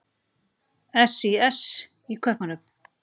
SÍS í Kaupmannahöfn.